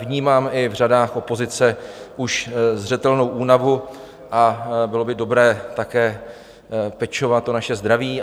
Vnímám i v řadách opozice už zřetelnou únavu a bylo by dobré také pečovat o naše zdraví.